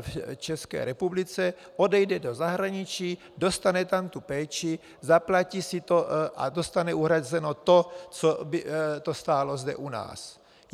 v České republice, odejde do zahraničí, dostane tam tu péči, zaplatí si to a dostane uhrazeno to, co by to stálo zde u nás.